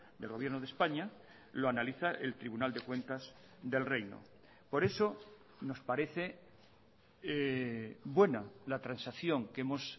del gobierno de españa lo analiza el tribunal de cuentas del reino por eso nos parece buena la transacción que hemos